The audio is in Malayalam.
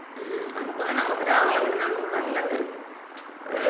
ഉം നമ്മക്കും എന്നാ, നമ്മക്ക് രാവിലെ വിടണേണന്ന് തോന്നുന്നു നല്ലത്. ഏർ